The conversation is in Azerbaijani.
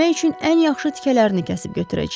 Yemək üçün ən yaxşı tikələrini kəsib götürəcəyik.